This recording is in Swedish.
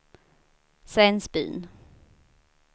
Svensbyn